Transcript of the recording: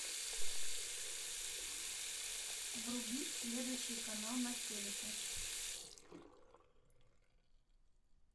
врубить следующий канал на телике